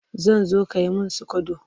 Zan zo ka yi min sikodo